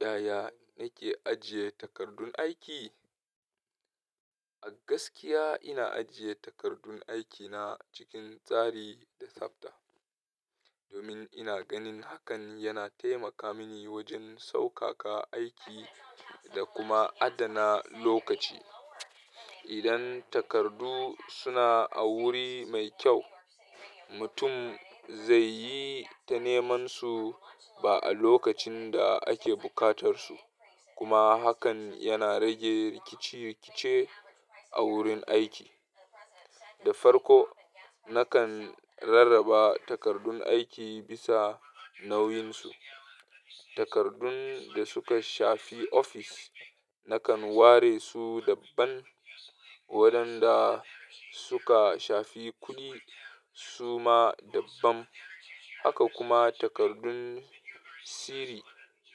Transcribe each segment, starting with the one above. Yaya nake ajiye takardun aiki? A gaskiya ina ajiye takardun aikina cikin tsari da tsabta, domin ina ganin hakan yana taimaka mini wajen saukaka aiki da kuma adana lokaci. Idan takardu suna a wuri mai kyau, mutum zai yi ta neman su ba a lokacin da ake buƙatar su kuma hakan yana rage rikice-rikice a wurin aiki. Da farko, nakan rarraba takardun aiki bisa nauyinsu. Takardun da suka shafi ofis nakan ware su dabban, waɗanda suka shafi kuɗi su ma dabban, haka kuma takardun sirri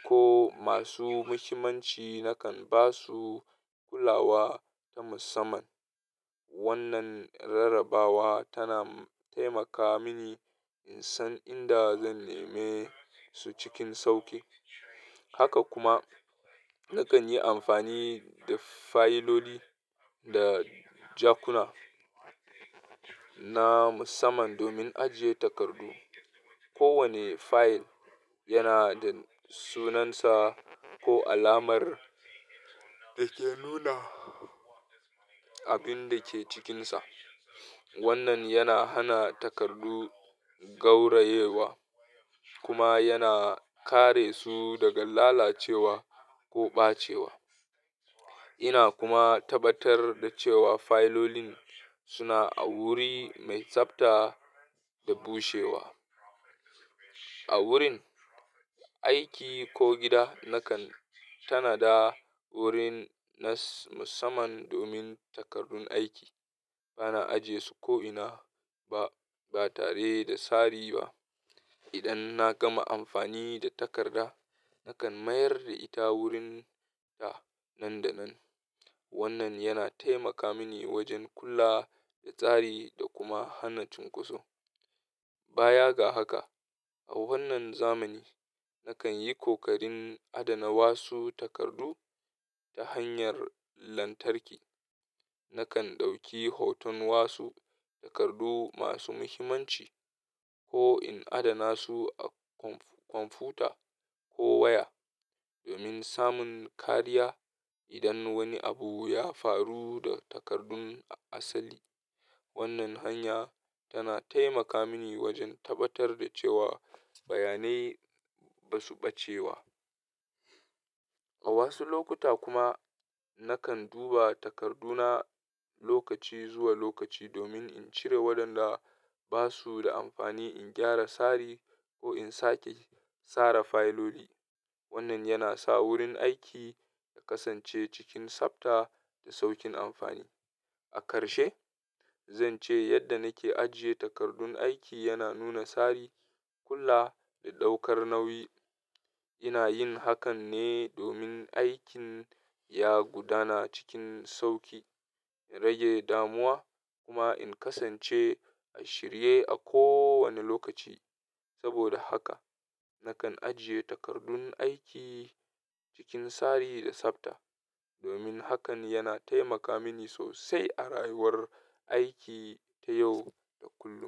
ko masu muhimmanci nakan ba su kulawa ta musamman. Wannan rarrabawa tana taimaka mini in san inda zan neme su cikin sauƙi. Haka kuma nakan yi amfani da fayiloli da jakuna na musamman domin ajiye takardu. Kowane fayil yana da sunansa ko alamar da ke nuna abin da ke cikinsa. Wannan yana hana takardu gaurayewa kuma yana kare su daga lalacewa ko ɓacewa. Ina kuma tabbatar da cewa fayilolin suna a wuri mai tsabta da bushewa. A wurin aiki ko gida, nakan tanada wurin na musamman domin takardun aiki. Ba na aje su ko'ina ba, ba tare da tsari ba. Idan na gama amfani da takarda, nakan mayar da ita wurinta nan da nan. Wannan yana taimaka mini wajen kula da tsari da kuma hana cunkoso. Baya ga haka, a wannan zamani nakan yi kokarin adana wasu takardu ta hanyar lantarki. Nakan ɗauki hoton wasu takardu masu muhimmanci ko in adana su a kwamfuta ko waya, domin samun kariya idan wani abu ya faru da takardun asali. Wannan hanya tana taimaka mini wajen tabbatar da cewa bayanai ba su ɓacewa. A wasu lokuta kuma nakan duba takarduna lokaci zuwa lokaci domin in cire waɗanda ba su da amfani, in gyara tsari ko in sake sare fayiloli. Wannan yana sa wurin aiki ya kasance cikin tsabta da sauƙin amfani. A karshe, zan ce yadda nake ajiye takardun aiki yana nuna tsari, kula da ɗaukar nauyi. Ina yin hakan ne domin aikin ya gudana cikin sauƙi, rage damuwa kuma in kasance a shirye a kowane lokaci. Saboda haka, nakan ajiye takardun aiki cikin tsari da tsabta, domin hakan yana taimaka mini sosai a rayuwar aiki ta yau da kullum.